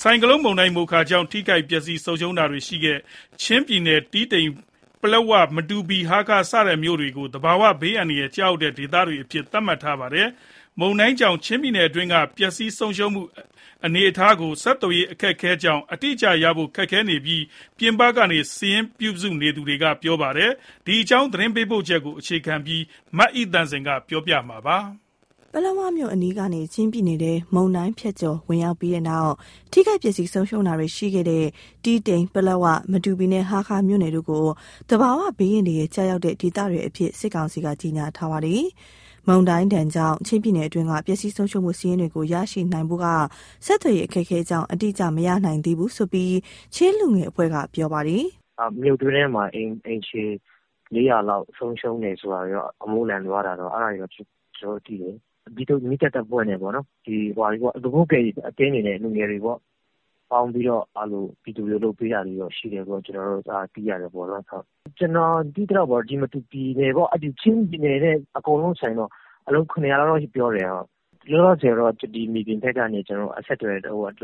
ဆိုင်ကလုန်းမုန်တိုင်း "မိုခါ" ကြောင့် ထိခိုက်ပျက်စီး ဆုံးရှုံးတာတွေရှိခဲ့တဲ့ ချင်းပြည်နယ်က တီးတိန်၊ ပလက်ဝ၊ မတူပီနဲ့ ဟားခါးမြို့နယ်တို့ကို သဘာဝဘေးအန္တရာယ် ကျရောက်တဲ့ဒေသတွေအဖြစ် သတ်မှတ်ထားပါတယ်။ မုန်တိုင်းဒဏ်ကြောင့် ချင်းပြည်နယ်အတွင်းက ပျက်စီးဆုံးရှုံးမှု အနေအထားကို ဆက်သွယ်ရေး အခက်အခဲကြောင့် အတိအကျရနိုင်ဖို့ ခက်ခဲနေတယ်လို့ ပြင်ပကနေ စာရင်းပြုစုနေသူတွေက ပြောပါတယ်။ ဒီအကြောင်း သတင်းပေးပို့ချက်ကို အခြေခံပြီး မအိသန့်စင်က ပြောပြမှာပါ။ ပလက်ဝမြို့ အနီးကနေ ချင်းပြည်နယ်ထဲ မုန်တိုင်းဖြတ်ကျော် ဝင်ရောက်ပြီးတဲ့နောက် ထိခိုက်ပျက်စီး ဆုံးရှုံးတာတွေရှိခဲ့တဲ့ တီးတိန်၊ ပလက်ဝ၊ မတူပီနဲ့ ဟားခါးမြို့နယ်တို့ကို သဘာဝဘေးအန္တရာယ် ကျရောက်တဲ့ဒေသတွေအဖြစ် စစ်ကောင်စီက ကြေညာထားပါတယ်။ မုန်တိုင်းဒဏ်ကြောင့် ချင်းပြည်နယ်အတွင်းက ပျက်စီးဆုံးရှုံးမှု စာရင်းတွေကို ရရှိနိုင်ဖို့က ဆက်သွယ်ရေး အခက်အခဲကြောင့် အတိအကျ မရနိုင်သေးဘူးလို့ ချင်းလူငယ်အဖွဲ့က ပြောပါတယ်။ "မြို့တွင်းထဲမှာ အိမ်ခြေ ၄၀၀ ဝန်းကျင် ဆုံးရှုံးတယ်။ အမိုးလန်သွားတယ်ဆိုတာတော့ သိရတယ်။ မီးသတ်တပ်ဖွဲ့နဲ့ လူမှုကယ်ဆယ်ရေး အသင်းတွေ၊ လူငယ်တွေ ပေါင်းပြီးတော့ ပြည်သူတွေကို လုပ်ပေးနေတာ ရှိတယ်လို့တော့ ကျနော်တို့ သိရတယ်။ ကျနော် သိရသလောက်တော့ မတူပီရော၊ ချင်းပြည်နယ် တခုလုံးဆို အလုံး ၇၀၀ ဝန်းကျင်လောက်တော့ ဆုံးရှုံးမယ်။ လောလောဆယ်တော့ မြေပြင်အခြေအနေက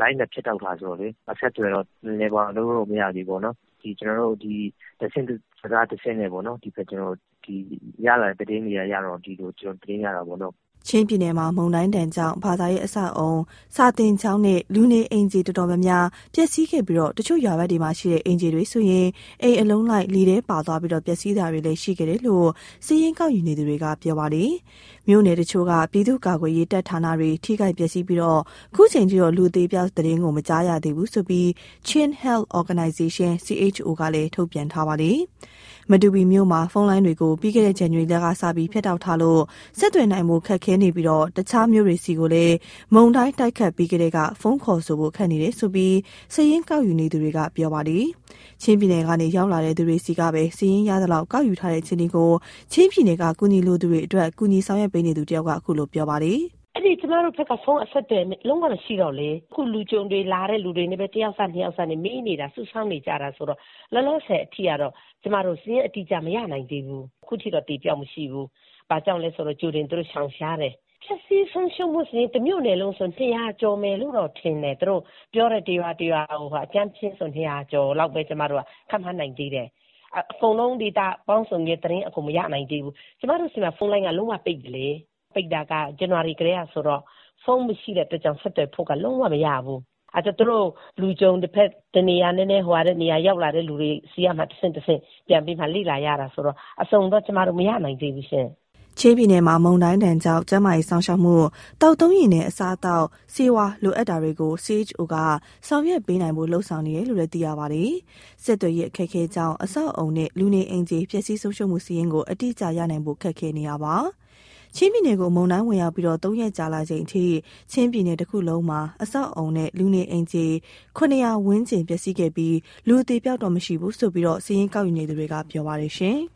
လိုင်းတွေဖြတ်တောက် ထားတာဆိုတော့လေ အဆက်အသွယ်တော့ လုပ်လို့မရသေးဘူး။ တဆင့်စကား တဆင့်နဲ့ ဒီလိုသတင်းတွေ ရနေတာပေါ့။" ချင်းပြည်နယ်မှာ မုန်တိုင်းဒဏ်ကြောင့် ဘာသာရေး အဆောက်အအုံ၊ စာသင်ကျောင်းနဲ့ လူနေအိမ်ခြေ အတော်များများ ပျက်စီးခဲ့ပြီး၊ တချို့ရွာဘက်မှာရှိတဲ့ အိမ်ခြေတွေဆိုရင် အိမ်အလုံးလိုက် လေထဲပါသွားပြီး ပျက်စီးတာတွေလည်း ရှိခဲ့တယ်လို့ စာရင်း ကောက်ယူနေသူတွေက ပြောပါတယ်။ မြို့နယ်တချို့က ပြည်သူ့ကာကွယ်ရေး တပ်ဌာနတွေ ထိခိုက်ပျက်စီးပြီး၊ အခုချိန်ထိတော့ လူအသေအပျောက်သတင်း မကြားရသေးဘူးလို့ Chin Health Organization ကလည်း ထုတ်ပြန်ထားပါတယ်။ မတူပီမြို့မှာ ဖုန်းလိုင်းတွေကို ပြီးခဲ့တဲ့ ဇန်နဝါရီလကစပြီး ဖြတ်တောက်ထားလို့ ဆက်သွယ်နိုင်ဖို့ ခက်ခဲနေပြီး၊ တခြားမြို့တွေဆီလည်း မုန်တိုင်း တိုက်ခတ်ပြီးကတည်းက ဖုန်းခေါ်ဆိုဖို့ ခက်နေတယ်လို့ စာရင်းကောက်ယူ နေသူတွေက ပြောပါတယ်။ ချင်းပြည်နယ်ကနေ ရောက်လာတဲ့ သူတွေဆီကပဲ စာရင်းရသလောက် ကောက်ယူထားတဲ့ အခြေအနေကို ချင်းပြည်နယ်က အကူအညီလိုသူတွေအတွက် ကူညီဆောင်ရွက်ပေးနေသူ တဦးက အခုလို ပြောပြပါတယ်။ "ကျမတို့နဲ့ အဲဒီဘက်က ဖုန်းအဆက်အသွယ် လုံးဝမရှိတော့ အခုလာတဲ့ လူကြုံတွေ တယောက်စ၊ နှစ်ယောက်စဆီကနေ အခြေအနေမေး စုဆောင်းနေရတာဆိုတော့ လောလောဆယ် အထိကတော့ ကျမတို့ စာရင်းအတိအကျ မရနိုင်သေးဘူး။ ရသလောက် စာရင်းအရဆို အခုထိတော့ အသေအပျောက် မရှိဘူး။ ဘာကြောင့်လဲဆို ကြိုတင်ပြီးတော့ သူတို့ရှောင်ရှားတယ်။ ပျက်စီးဆုံးရှုံးမှုက တမြို့နယ်လုံးဆို ၂၀၀ ကျော်မယ်လို့တော့ ထင်တယ်။ သူတို့ပြောတဲ့ ရွာတွေစာရင်းအရ ကျမတို့က အကြမ်းဖျဉ်းပဲ ခန့်မှန်းနိုင်သေးတယ်။ အကုန်လုံး ဒေတာပေါင်းစုံနဲ့ သတင်းအစုံ မရနိုင်သေးဘူး။ ကျမတို့ဆီမှာ ဖုန်းလိုင်းက လုံးဝပိတ်ပြီလေ။ ဇန်နဝါရီကတည်းက ပိတ်တာဆိုတော့ ဖုန်းမရှိတဲ့အခါကျတော့ ဆက်သွယ်ဖို့က လုံးဝမရဘူး။ အဲတော့ ရောက်လာတဲ့ လူကြုံတွေဆီကနေပဲ တဆင့်ပြီးတဆင့် လေ့လာရတာဆိုတော့ အစုံတော့ ကျမတို့ မရနိုင်သေးဘူးရှင့်။" ချင်းပြည်နယ်မှာ မုန်တိုင်းဒဏ်ကြောင့် ကျန်းမာရေး စောင့်ရှောက်မှု၊ သောက်သုံးရေနဲ့ အစားအသောက်၊ ဆေးဝါး လိုအပ်တာတွေကို CHO က ဆောင်ရွက်ပေးနိုင်ဖို့ လုပ်ဆောင်နေတယ်လို့ သိရပါတယ်။ ဆက်သွယ်ရေး အခက်အခဲကြောင့် အဆောက်အအုံနဲ့ လူနေအိမ်ခြေ ပျက်စီးဆုံးရှုံးမှု စာရင်းကို အတိအကျရနိုင်ဖို့ ခက်ခဲနေပါတယ်။ ချင်းပြည်နယ်ကို မုန်တိုင်းဝင်ရောက်ပြီး ၃ ရက်ကြာလာချိန်အထိ ချင်းပြည်နယ်တခုလုံးမှာ အဆောက်အအုံနဲ့ လူနေအိမ်ခြေ ၇၀၀ ဝန်းကျင် ပျက်စီးခဲ့ပြီး၊ လူအသေအပျောက်တော့ မရှိဘူးလို့ စာရင်းကောက်ယူ နေသူတွေက ပြောပါတယ်။